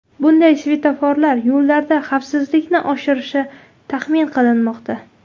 Bunday svetoforlar yo‘llarda xavfsizlikni oshirishi taxmin qilinmoqda.